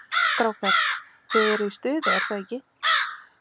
Strákar, þið eruð í stuði er það ekki?